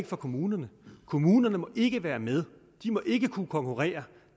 for kommunerne kommunerne må ikke være med de må ikke kunne konkurrere